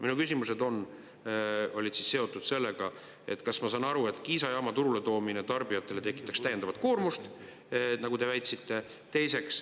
Minu küsimused olid seotud sellega: kas, ma saan aru, Kiisa jaama turuletoomine tarbijatele tekitaks täiendavat koormust, nagu te väitsite?